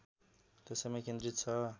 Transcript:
त्यसैमा केन्द्रित छ